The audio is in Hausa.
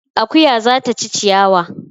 Akuya za ta ci ciyawa